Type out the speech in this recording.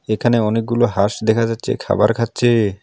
এখানে অনেকগুলো হাঁস দেখা যাচ্ছে খাবার খাচ্ছে।